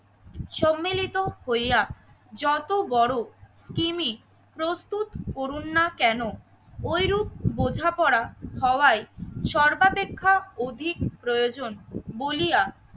সম্মিলিত হইয়া যত বড়ো স্কিমি প্রস্তুত করুন না কেনো ওইরূপ বোঝাপড়া হওয়ায় সর্বাপেক্ষা অধিক প্রয়োজন বলিয়া